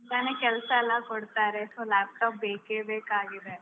ತುಂಬಾನೇ ಕೆಲ್ಸ ಎಲ್ಲ ಕೊಡ್ತಾರೆ so laptop ಬೇಕೇ ಬೇಕಾಗಿದೆ.